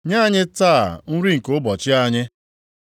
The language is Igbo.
Nye anyị taa nri nke ụbọchị anyị.